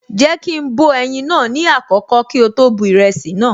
Jéèkì ń bọ ẹyin naa ní àkọ́kọ́ kí ó tó bu ìrẹsì naa